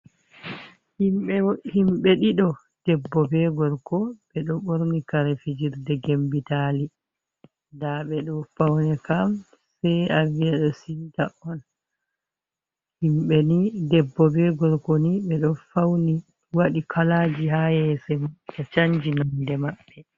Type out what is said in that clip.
Himɓe ɗido deɓɓo be gorko ɓedo borni karefijirde gembitali, ɗaɓe do fauni kam sai aviya do simta on himɓe ni deɓɓo be gorko ni be do fauni wadi kalaji ha yesoji man be chanji nonde maɓɓe.